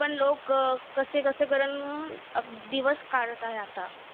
तरी पण लोकं कसेबसे करून अं दिवस काढत आहे आता.